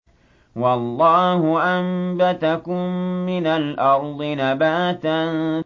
وَاللَّهُ أَنبَتَكُم مِّنَ الْأَرْضِ نَبَاتًا